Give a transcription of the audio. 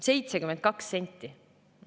72 senti!